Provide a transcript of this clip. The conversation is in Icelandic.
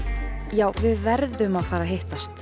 já við verðum að fara að hittast